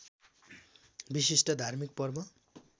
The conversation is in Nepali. विशिष्ट धार्मिक पर्व